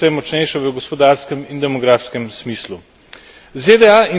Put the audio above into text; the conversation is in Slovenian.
Tudi druga območja so vse močnejša v gospodarskem in demografksem smislu.